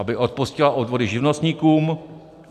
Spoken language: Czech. aby odpustila odvody živnostníkům;